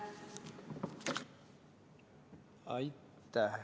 Aitäh!